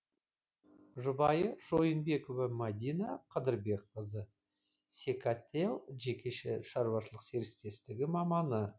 жұбайы шойынбекова мәдина қыдырбекқызы секател жекеше шаруашылық серіктестер маманы